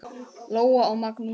Lóa og Magnús.